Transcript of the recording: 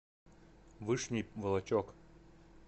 вышний волочек